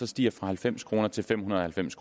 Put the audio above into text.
stiger fra halvfems kroner til fem hundrede og halvfems